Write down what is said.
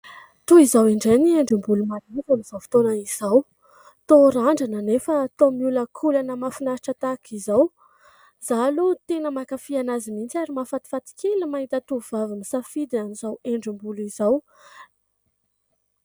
Toy izao indray ny endri-bolo malaza amin'izao fotoana izao : toa randrana anefa toa mioloakolana mahafinahitra tahaka izao ; izaho aloha tena makafy azy mihitsy ary mahafatifaty kely ny mahita tovovavy nisafidy an'izao endri-bolo izao.